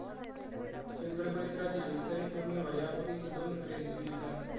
चंदगड परिसरातील विस्तरित भूमीवर या बोलीची दोन रूपे दिसून येतात.